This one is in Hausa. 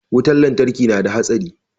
wutar lantarki nada hatsari